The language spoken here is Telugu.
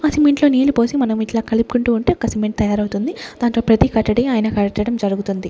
ఆ సిమెంట్ లో నీళ్లు పోసి మనం ఇట్లా కలుపుకుంటూ ఉంటే ఒక సిమెంట్ తయారవుతుంది దాంతో ప్రతి కట్టడి ఆయన కట్టడం జరుగుతుంది.